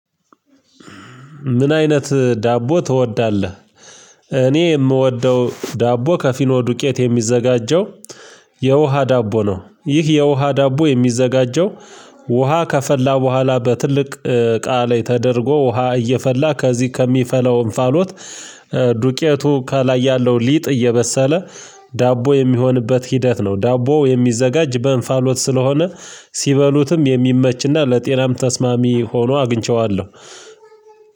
ምን አይነት ዳቦ ትወዳለህ? እኔ የምወደው ዳቦ ከፊኖ ዱቄት የሚዘጋጀው የውሃ ዳቦ ነው። ይህ የውሃ ዳቦ የሚዘጋጀው ውሃ ከፈላ በኋላ በትልቅ ቃል ላይ ተደርጎ ውሃ እየፈላ ከዚህ ከሚፈለው እንፋሎት። ዱቄቱ ከላይ ያለው ሊጥ እየበሰለ ዳቦ የሚሆንበት ሂደት ነው። ዳቦው የሚዘጋጅ በእንፋሎት ስለሆነ ሲበሉትም የሚመችና ለጤናም ተስማሚ ሆኖ አግኝቼዋለሁ።